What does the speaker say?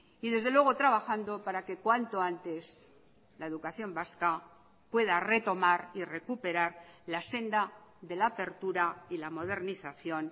y desde luego trabajando para que cuanto antes la educación vasca pueda retomar y recuperar la senda de la apertura y la modernización